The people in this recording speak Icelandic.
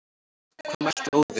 Hvað mælti Óðinn,